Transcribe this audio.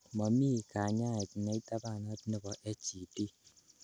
Momi kanyaet neitabanat nebo HED.